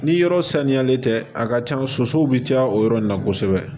Ni yɔrɔ saniyalen tɛ a ka ca sosow bɛ caya o yɔrɔ in na kosɛbɛ